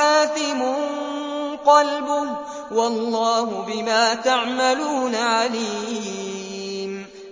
آثِمٌ قَلْبُهُ ۗ وَاللَّهُ بِمَا تَعْمَلُونَ عَلِيمٌ